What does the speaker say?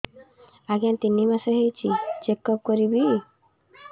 ଆଜ୍ଞା ତିନି ମାସ ହେଇଛି ଚେକ ଅପ କରିବି